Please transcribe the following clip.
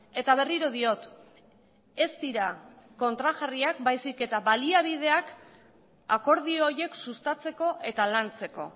eta berriro diot ez dira kontrajarriak baizik eta baliabideak akordio horiek sustatzeko eta lantzeko